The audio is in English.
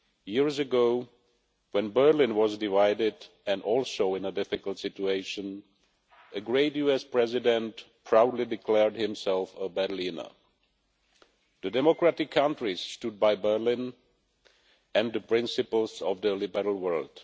Years ago, when Berlin was divided and also in a difficult situation, a great US President proudly declared himself a Berliner. The democratic countries stood by Berlin and the principles of the liberal world.